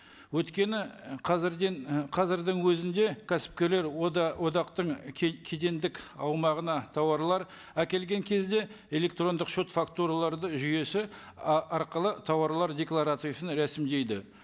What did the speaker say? өйткені қазірден і қазірдің өзінде кәсіпкерлер одақтың кедендік аумағына тауарлар әкелген кезде электрондық шот фактураларды жүйесі арқылы тауарлар декларациясын рәсімдейді